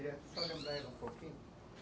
Eu queria só lembrar ela um pouquinho.